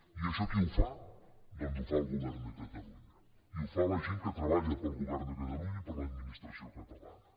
i això qui ho fa doncs ho fa el govern de catalunya i ho fa la gent que treballa per al govern de catalunya i per a l’administració catalana